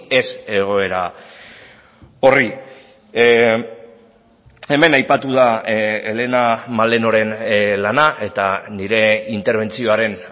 ez egoera horri hemen aipatu da helena malenoren lana eta nire interbentzioaren